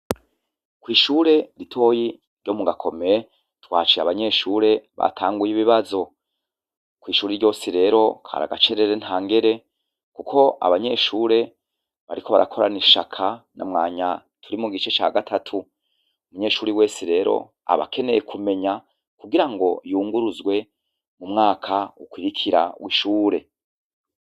Kw'ishure ritoyi ryo mu gakome twacire abanyeshure batanguye ibibazo kw'ishure ryose rero karagacerere nta ngere, kuko abanyeshure bariko barakorana ishaka namwanya turi mu gice ca gatatu umunyeshuri wese rero abakeneye kumenya kugira ngoyue wunguruzwe mu mwaka ukwirikira wishure